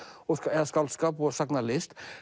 eða skáldskap og sagnalist